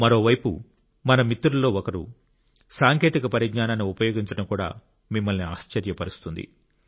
మరోవైపు మన మిత్రుల్లో ఒకరు సాంకేతిక పరిజ్ఞానాన్ని ఉపయోగించడం కూడా మిమ్మల్ని ఆశ్చర్యపరుస్తుంది